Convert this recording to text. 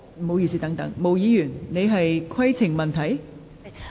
毛議員，你是否有規程問題？